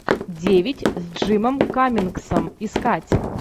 девять с джимом каммингсом искать